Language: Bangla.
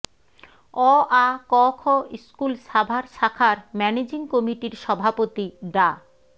অ আ ক খ স্কুল সাভার শাখার ম্যানেজিং কমিটির সভাপতি ডা